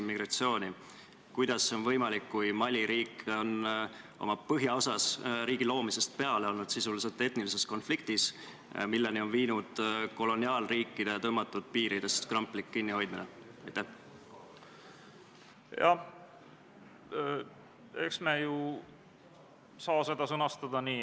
Tänane kolmas päevakorrapunkt on Vabariigi Valitsuse esitatud Riigikogu otsuse "Kaitseväe kasutamise tähtaja pikendamine Eesti riigi rahvusvaheliste kohustuste täitmisel Euroopa Liidu sõjalisel missioonil EUNAVFOR Med/Sophia" eelnõu 64 teine lugemine.